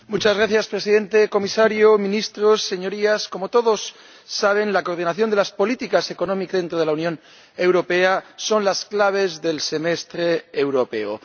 Señor Presidente comisario, ministros, Señorías, como todos saben, la coordinación de las políticas económicas y presupuestarias dentro de la Unión Europea son las claves del Semestre Europeo.